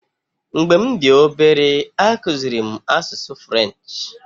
Mgbe m dị obere, akụziri m asụsụ French.